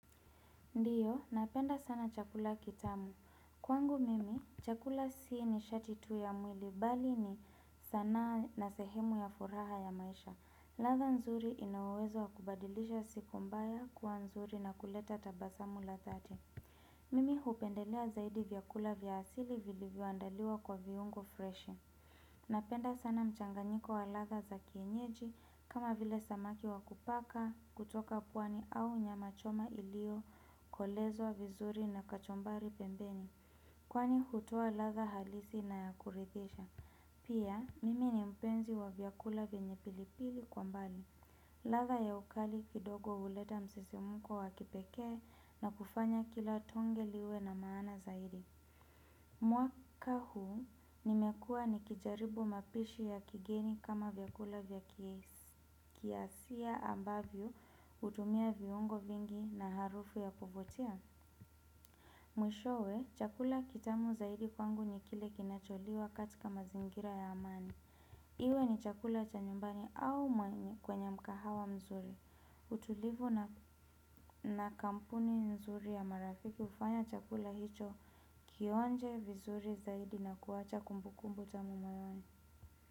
Ndiyo, napenda sana chakula kitamu. Kwangu mimi, chakula si nishati tu ya mwili, bali ni sanaa na sehemu ya furaha ya maisha. Ladha nzuri ina uwezo wa kubadilisha siku mbaya kuwa nzuri na kuleta tabasamu la dhati. Mimi hupendelea zaidi vyakula vya asili vilivyoandaliwa kwa viungo freshi. Napenda sana mchanganyiko wa ladha za kienyeji, kama vile samaki wa kupaka kutoka pwani au nyama choma iliyokolezwa vizuri na kachumbari pembeni kwani hutoa ladha halisi na ya kurithisha. Pia mimi ni mpenzi wa vyakula venye pilipili kwa mbali. Ladha ya ukali kidogo huleta msisimuko wa kipekee na kufanya kila tonge liwe na maana zaidi. Mwaka huu nimekua nikijaribu mapishi ya kigeni kama vyakula vya kiasia ambavyo hutumia viungo vingi na harufu ya kuvutia mwishowe chakula kitamu zaidi kwangu ni kile kinacholiwa katika mazingira ya amani. Iwe ni chakula cha nyumbani au maini kwenye mkahawa mzuri utulivu na kampuni nzuri ya marafiki hufanya chakula hicho kionje vizuri zaidi na kuacha kumbukumbu tamu moyoni.